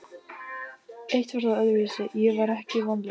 Eitt var þó öðruvísi: Ég var ekki vonlaus.